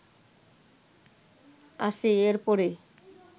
আসে এর পরে